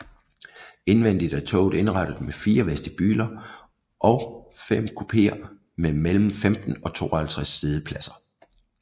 Indvendigt er toget indrettet med 4 vestibuler og 5 kupéer med mellem 15 og 52 siddepladser